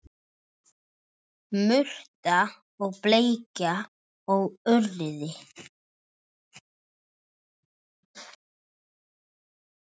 Murta og bleikja og urriði